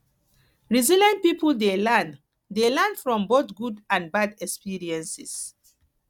resilient pipo dey learn dey learn from both good and bad experiences